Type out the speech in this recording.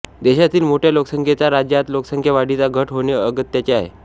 देशातील मोठय़ा लोकसंख्येच्या राज्यात लोकसंख्यावाढीत घट होणे अगत्याचे आहे